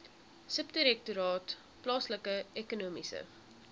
subdirektoraat plaaslike ekonomiese